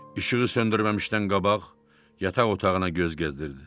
İşığı söndürməmişdən qabaq yataq otağına göz gəzdirdi.